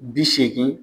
Bi seegin